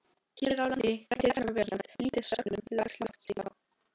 Hér á landi gætir efnaveðrunar lítið sökum lágs lofthita.